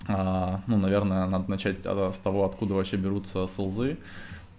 ну наверное надо начать тогда с того откуда вообще берутся сылзы